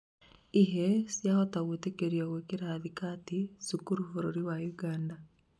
ihĩĩ ciahota gwĩtĩkĩrio gwĩkira thikati cukuru bũrũri wa Uganda